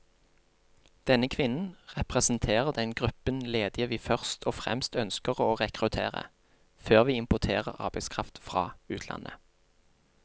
Denne kvinnen representerer den gruppen ledige vi først og fremst ønsker å rekruttere, før vi importerer arbeidskraft fra utlandet.